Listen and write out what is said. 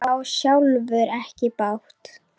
Ég á sjálfur ekki bát.